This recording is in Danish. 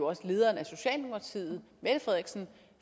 også lederen af socialdemokratiet